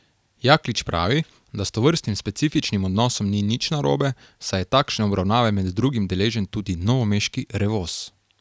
Jaklič pravi, da s tovrstnim specifičnim odnosom ni nič narobe, saj je takšne obravnave med drugim deležen tudi novomeški Revoz.